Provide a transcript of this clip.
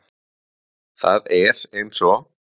Það er eins og